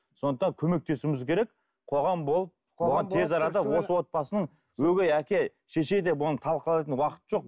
сондықтан көмектесуіміз керек қоғам болып тез арада осы отбасының өгей әке шеше деп оны талқылайтын уақыт жоқ